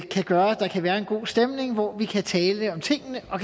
kan gøre at der kan være en god stemning hvor vi kan tale om tingene og